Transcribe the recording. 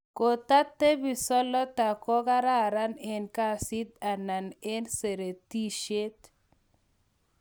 kotatepi, solota kogaran en kasiit anan seretisheet?